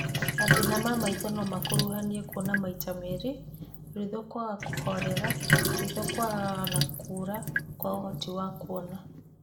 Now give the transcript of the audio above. Mathĩna ma maitho no makuruhanie kuona maita merĩ, ritho kwaga kũhorera, ritho kwanganga na kũra kwa ũhoti wa kuona